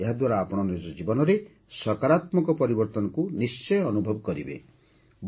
ଏହାଦ୍ୱାରା ଆପଣ ନିଜ ଜୀବନରେ ସକାରାତ୍ମକ ପରିବର୍ତ୍ତନକୁ ନିଶ୍ଚୟ ଅନୁଭବ କରିବେ